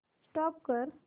stop करा